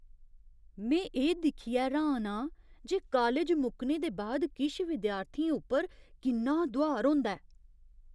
में एह् दिक्खियै र्हान आं जे कालज मुक्कने दे बाद किश विद्यार्थियें उप्पर किन्ना दुहार होंदा ऐ।